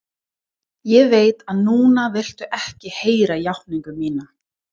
Ég veit að núna viltu ekki heyra játningu mína.